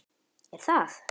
Er það?